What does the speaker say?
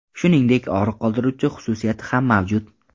Shuningdek, og‘riq qoldiruvchi xususiyati ham mavjud.